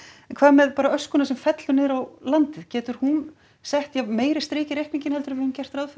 en hvað með bara öskuna sem fellur niður á landið getur hún sett meira strik í reikninginn en við höfum gert ráð fyrir